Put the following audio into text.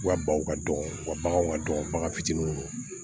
U ka baw ka dɔgɔn u ka baganw ka dɔgɔn bagan fitinin